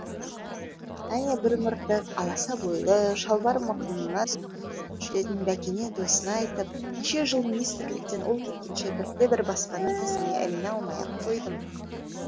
әне бір мыртық аласа бойлы шалбары мықынына түсіп жүретін бәкене досына айтып неше жыл министрліктен ол кеткенше бірде бір баспананың тізіміне іліне алмай ақ қойдым